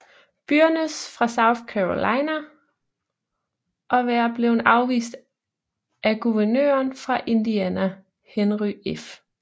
Byrnes fra South Carolina og være blevet afvist af guvernøren fra Indiana Henry F